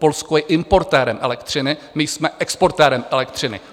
Polsko je importérem elektřiny, my jsme exportérem elektřiny.